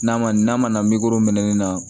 N'a ma n'a mana minɛ ne na